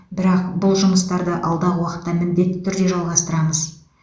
бірақ бұл жұмыстарды алдағы уақытта міндетті түрде жалғастырамыз